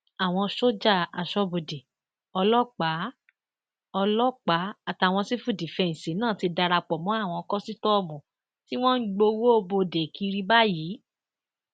àwọn sójà aṣọbodè ọlọpàá ọlọpàá àtàwọn sífúdífẹǹsì náà ti darapọ mọ àwọn kòsítọọmù tí wọn ń gbowó bodè kiri báyìí